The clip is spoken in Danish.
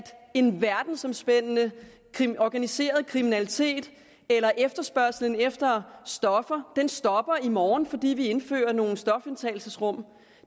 en verdensompændende organiseret kriminalitet eller efterspørgslen efter stoffer stopper i morgen fordi vi indfører nogle stofindtagelsesrum